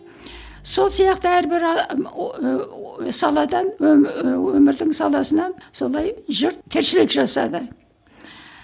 сол сияқты әрбір саладан ііі өмірдің саласынан солай жұрт тіршілік жасады